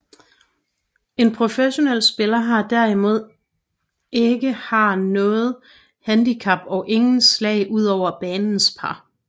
En professionel spiller har derimod ikke har noget handicap og ingen slag ud over banens par